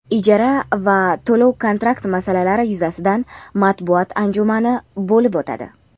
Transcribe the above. ijara va to‘lov - kontrakt masalalari yuzasidan matbuot anjumani bo‘lib o‘tadi.